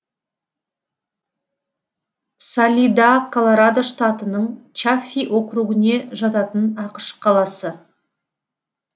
салида колорадо штатының чаффи округіне жататын ақш қаласы